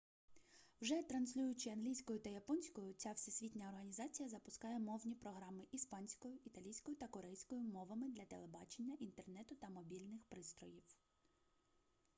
вже транслюючи англійською та японською ця всесвітня організація запускає мовні програми іспанською італійською та корейською мовами для телебачення інтернету та мобільних пристроїв